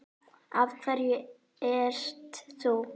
Af hverju ert þú.